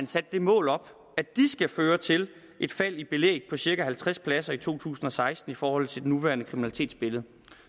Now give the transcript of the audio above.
sat det mål op at de skal føre til et fald i belæg på cirka halvtreds pladser i to tusind og seksten i forhold til det nuværende kriminalitetsbillede